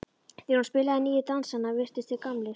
Þegar hún spilaði nýju dansana virtust þeir gamlir.